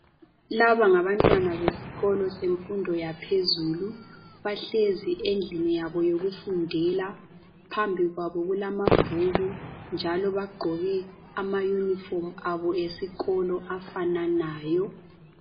Laba ngabantwana besikolo semfundo yaphezulu, bahlezi endlini yabo yokufundela. Phambi kwabo kulamabhuku njalo bagqoke amayunifomu abo esikolo afananayo.